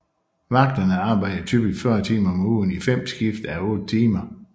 Vagterne arbejdede typisk 40 timer om ugen i fem skift à otte timer